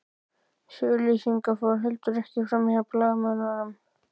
Þessi auglýsing fór heldur ekki framhjá blaðamönnum